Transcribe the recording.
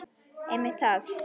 Einmitt það!